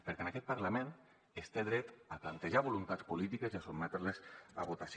perquè en aquest parlament es té dret a plantejar voluntats polítiques i a sotmetre les a votació